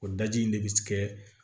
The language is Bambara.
O daji in ne bɛ kɛ